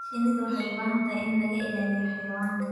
Shinnidu waxay u baahan tahay in laga ilaaliyo xayawaanka.